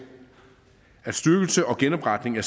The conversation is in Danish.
at styrkelse og genopretning af